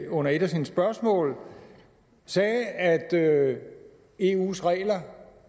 under et af sine spørgsmål sagde at at eus regler